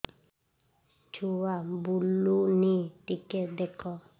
ଛୁଆ ବୁଲୁନି ଟିକେ ଦେଖ